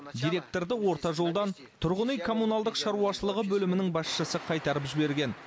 директорды орта жолдан тұрғын үй коммуналдық шаруашылығы бөлімінің басшысы қайтарып жіберген